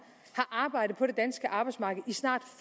har arbejdet på det danske arbejdsmarked i snart